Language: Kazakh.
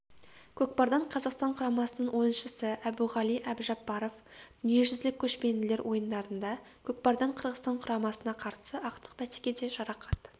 көкпардан қазақстан құрамасының ойыншысы әбуғали әбжапаров дүниежүзілік көшпенділер ойындарында көкпардан қырғызстан құрамасына қарсы ақтық бәсекеде жарақат